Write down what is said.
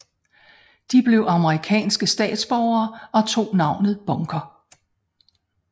De blev amerikanske statsborgere og tog navnet Bunker